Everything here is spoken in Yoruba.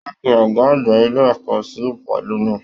Wọn pe ọgá àgbà ilé ẹ̀kọ́ sí ìpàdé náà.